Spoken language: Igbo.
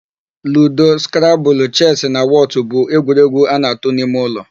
Ludo, skrabụlụ, chesị na wọtụ bụ egwuregwu a na-atụ n'ime ụlọ.